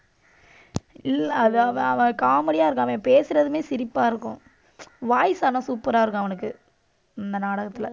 இல்லை, அது அவ~ அவன் comedy யா இருக்கும். அவன் பேசுறதுமே சிரிப்பா இருக்கும். voice ஆனா super ஆ இருக்கும் அவனுக்கு இந்த நாடகத்திலே.